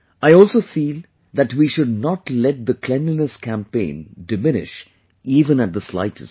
I also feel that we should not let the cleanliness campaign diminish even at the slightest